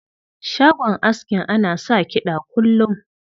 Shagon askin ana sa kiɗa kullum.